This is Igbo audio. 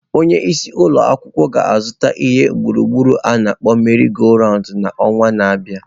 Onye isi ụlọ akwụkwọ ga-azụta ihe egwuregwu a na akpọ meri-go-roundu n'ọnwa na-abịa.